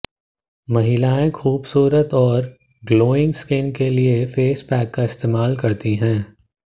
महिलाएं खूबसूरत और ग्लोइंग स्किन के लिए फेस पैक का इस्तेमाल करती हैं